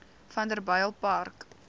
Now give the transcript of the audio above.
vanderbijlpark